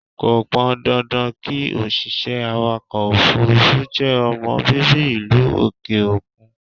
Kò pọn dandan kí òṣìṣẹ́ awàkọ̀ òfúrúfú jẹ́ ọmọ bíbí ìlú òkè òkun.